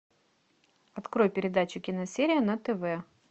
открой передачу киносерия на тв